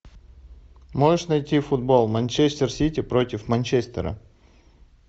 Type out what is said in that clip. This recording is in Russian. можешь найти футбол манчестер сити против манчестера